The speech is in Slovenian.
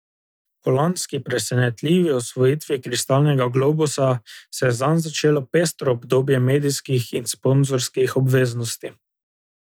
Po lanski presenetljivi osvojitvi kristalnega globusa se je zanj začelo pestro obdobje medijskih in sponzorskih obveznosti.